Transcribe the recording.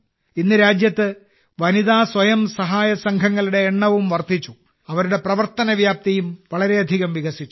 ഇന്ന് രാജ്യത്ത് വനിതാ സ്വയം സഹായ സംഘങ്ങളുടെ എണ്ണവും വർദ്ധിച്ചു അവരുടെ പ്രവർത്തന വ്യാപ്തിയും വളരെയധികം വികസിച്ചു